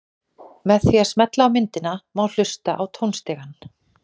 Með því að smella á myndina má hlusta á tónstigann.